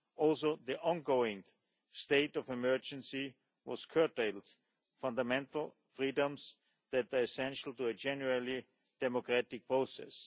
Also, the ongoing state of emergency has curtailed fundamental freedoms that are essential to a genuinely democratic process.